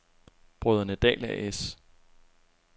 Brødrene Dahl A/S